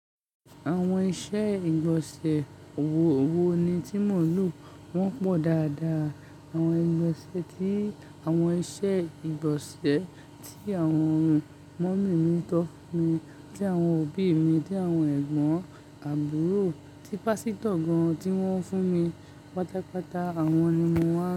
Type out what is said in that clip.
Àwọn iṣẹ́ ìgbọ̀nsẹ̀ wò wò ni tí mò ń lò, wọ́n pọ̀ dáadáa. Àwọn ìgbọ̀nsẹ̀ ti àwọn iṣẹ́ ìgbọ̀nsẹ̀ tí àwọn mọọmi tọ́ mi, tí àwọn òbí mi, tí àwọn ẹ̀gbọ́n, àbúrò, tí pásítọ̀ gan-an tí wọ́n fún mi, pàtàpàtà àwọn ni mo máa ń.